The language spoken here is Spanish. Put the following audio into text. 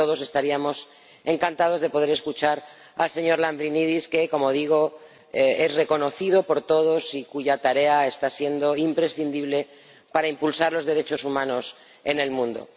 todos estaríamos encantados de poder escuchar al señor Lambrinidis que, como digo, es reconocido por todos y cuya tarea está siendo imprescindible para impulsar los derechos humanos en el mundo.